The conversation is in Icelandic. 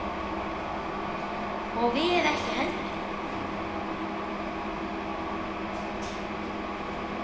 Og við ekki heldur.